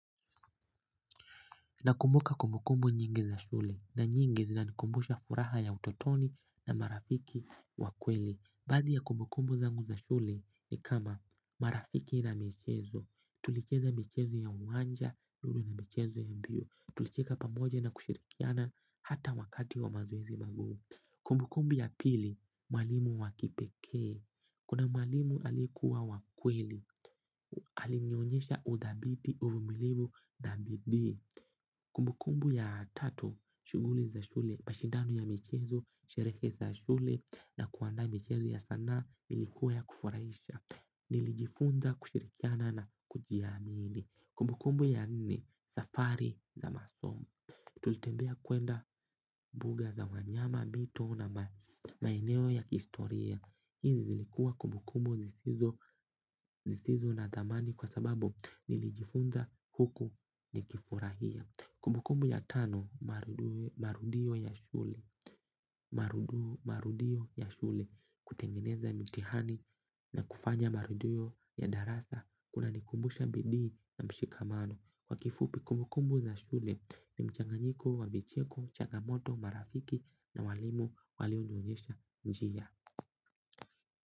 Nakumbuka kumbukumbu nyingi za shule na nyingi zina nikumbusha furaha ya utotoni na marafiki wakweli. Baathi ya kumbukumbu zangu za shule ni kama marafiki na michezo. Tulicheza michezo ya uwanja, lulu na michezo ya mbio. Tulicheka pamoja na kushirikiana hata wakati wa mazoezi magumu. Kumbukumbu ya pili, mwalimu wakipekee. Kuna mwalimu alikuwa wakweli, alinionyesha udhabiti uvumilivu na bidii. Kumbukumbu ya tatu, shughuli za shule, mashindano ya michezo, sherehe za shule na kuandaa michezo ya sanaa ilikuwa ya kufurahisha. Nilijifunza kushirikiana na kujiamini. Kumbukumbu ya nne, safari za masomo. Tulitembea kwenda mbuga za wanyama, mito na maeneo ya historia. Hizi zilikua kumbukumbu zisizo na dhamani kwa sababu nilijifunza huku nikifurahia. Kumbukumbu ya tano marudio ya shule marudio ya shule kutengeneza mtihani na kufanya marudio ya darasa kuna nikumbusha bidii na mshikamano. Kwa kifupi kumbukumbu za shule ni mchanganyiko wa vicheko, changamoto, marafiki na walimu walionionyesha njia.